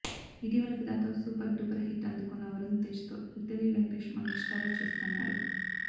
ఇటీవల ఫిదాతో super duper hit అందుకున్న వరుణ్ తేజ్తో విక్టరీ వెంకటేష్ మల్టీస్టారర్ చేస్తున్నాడు